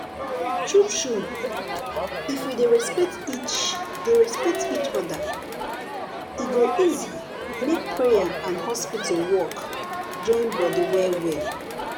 true true if we dey respect each dey respect each other e go easy make prayer and hospital work join body well well